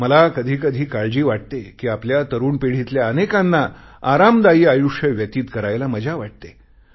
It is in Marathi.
मला कधीकधी काळजी वाटते कि आपल्या तरुण पिढीतल्या अनेकांना आरामदायी आयुष्य व्यतीत करायला मजा वाटते